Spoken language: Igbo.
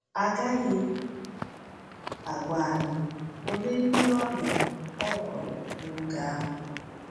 A gaghị agwa anyị ole ndị ọrịa ọ gwọrọ n’oge ahụ.